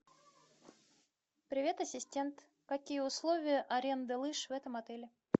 привет ассистент какие условия аренды лыж в этом отеле